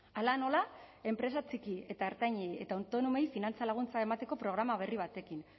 hala nola enpresa txiki eta ertainei eta autonomoei finantza laguntza emateko programa berri batekin